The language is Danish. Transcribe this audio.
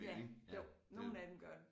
Ja jo nogle af dem gør